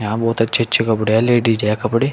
यहां बहुत अच्छे अच्छे कपड़े हैं लेडीज है कपड़े।